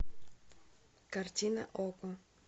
картина окко